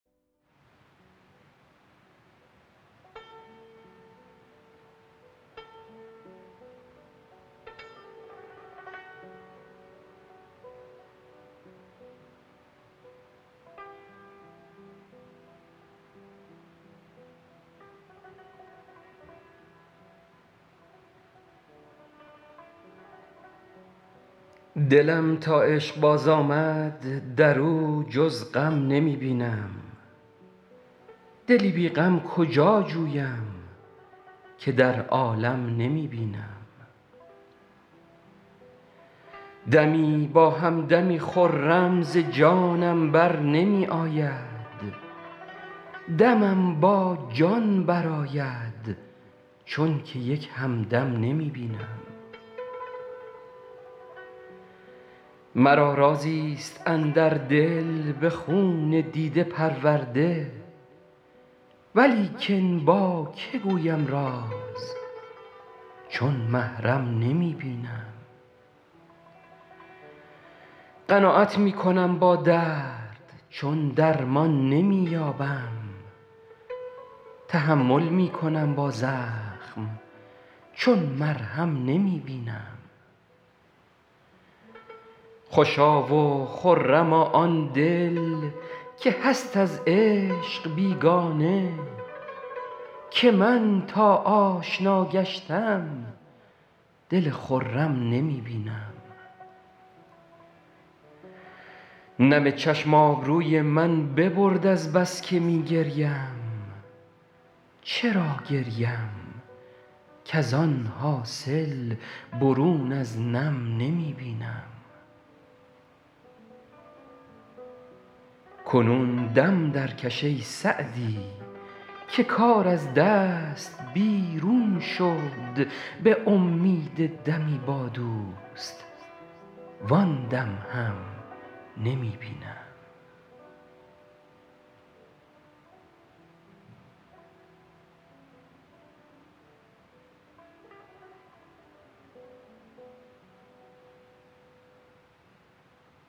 دلم تا عشق باز آمد در او جز غم نمی بینم دلی بی غم کجا جویم که در عالم نمی بینم دمی با هم دمی خرم ز جانم بر نمی آید دمم با جان برآید چون که یک هم دم نمی بینم مرا رازی ست اندر دل به خون دیده پرورده ولیکن با که گویم راز چون محرم نمی بینم قناعت می کنم با درد چون درمان نمی یابم تحمل می کنم با زخم چون مرهم نمی بینم خوشا و خرما آن دل که هست از عشق بیگانه که من تا آشنا گشتم دل خرم نمی بینم نم چشم آبروی من ببرد از بس که می گریم چرا گریم کز آن حاصل برون از نم نمی بینم کنون دم درکش ای سعدی که کار از دست بیرون شد به امید دمی با دوست وآن دم هم نمی بینم